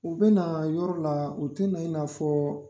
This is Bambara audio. U bɛna yɔrɔ la, u tɛna na, i na fɔ